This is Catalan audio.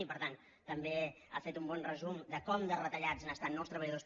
i per tant també ha fet un bon resum de com de retallats estan no els treballadors